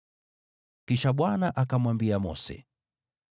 Kisha Bwana akamwambia Mose,